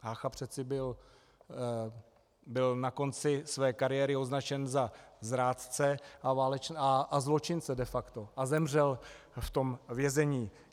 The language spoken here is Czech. Hácha přece byl na konci své kariéry označen za zrádce a zločince de facto a zemřel v tom vězení.